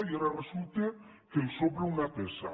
i ara resulta que els sobra una peça